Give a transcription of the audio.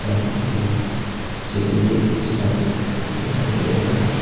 सामने की ओर शिवलिंग स्थापित दिखाई दे रहे है।